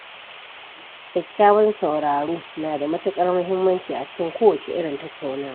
Kyakkyawan sauraro na da matuƙar muhimmanci a cikin kowacce irin tattaunawa.